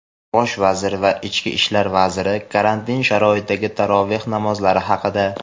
Bosh vazir va ichki ishlar vaziri — karantin sharoitidagi taroveh namozlari haqida.